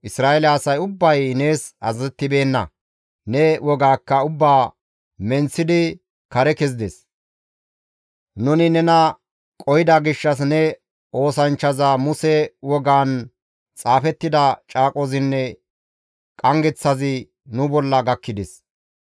Isra7eele asay ubbay nees azazettibeenna; ne wogaakka ubbaa menththidi kare kezides. «Nuni nena qohida gishshas ne oosanchchaza Muse wogaan xaafettida caaqozinne qanggeththazi nu bolla gakkides.